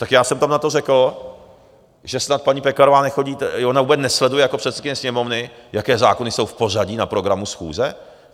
Tak já jsem tam na to řekl, že snad paní Pekarová nechodí, ona vůbec nesleduje jako předsedkyně Sněmovny, jaké zákony jsou v pořadí na programu schůze?